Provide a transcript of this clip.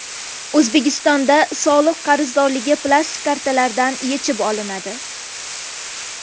O‘zbekistonda soliq qarzdorligi plastik kartalardan yechib olinadi.